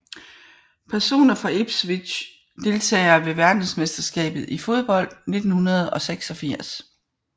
Personer fra Ipswich Deltagere ved verdensmesterskabet i fodbold 1986